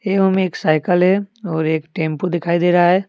एवं एक साइकिल है और एक टेम्पू दिखाई दे रहा है।